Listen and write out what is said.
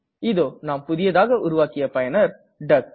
இதோ நாம் புதியதாக உருவாக்கிய பயனர் டக்